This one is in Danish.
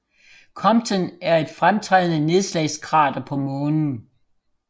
Compton er et fremtrædende nedslagskrater på Månen